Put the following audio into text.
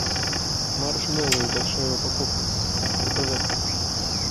маршмеллоу большая упаковка заказать